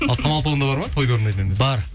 ал самал тобында бар ма тойда орындайтын әндер бар